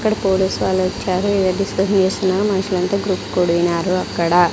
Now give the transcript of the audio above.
ఇక్కడ పోలీసు వాళ్ళు వచ్చారు ఏదో డిస్కషన్ చేస్తున్నారు మనుషులంతా గుంపు కూడినారు అక్కడ.